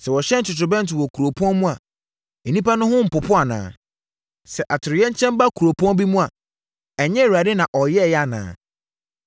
Sɛ wɔhyɛn totorobɛnto wɔ kuropɔn mu a nnipa no ho mpopo anaa? Sɛ atoyerɛnkyɛm ba kuropɔn bi mu a ɛnyɛ Awurade na ɔyɛeɛ anaa?